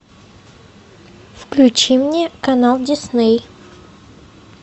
включи мне канал дисней